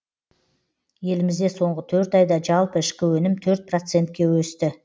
елімізде соңғы төрт айда жалпы ішкі өнім төрт процентке өсті